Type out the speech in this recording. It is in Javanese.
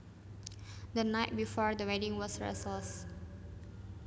The night before the wedding was restless